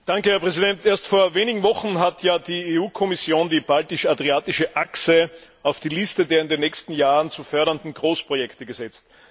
Herr Präsident! Erst vor wenigen Wochen hat ja die EU Kommission die Baltisch Adriatische Achse auf die Liste der in den nächsten Jahren zu fördernden Großprojekte gesetzt.